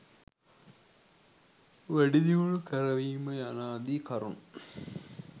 වැඩිදියුණු කරවීම යනාදී කරුණු